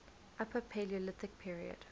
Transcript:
upper paleolithic period